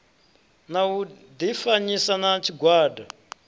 na u difanyisa na tshigwada